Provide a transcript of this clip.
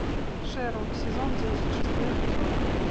шерлок сезон десять шестой эпизод